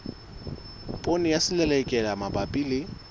poone ya selelekela mabapi le